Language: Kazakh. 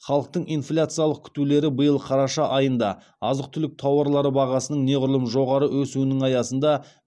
халықтың инфляциялық күтулері биыл қараша айында азық түлік тауарлары бағасының неғұрлым жоғары өсуінің аясында